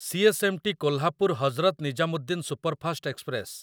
CSMT. Kolhapur Hazrat Nizamuddin superfast express